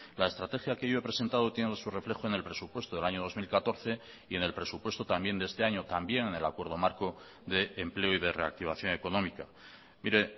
la estrategia que yo he presentado tiene su reflejo en el presupuesto del año dos mil catorce y en el presupuesto también de este año también en el acuerdo marco de empleo y de reactivación económica mire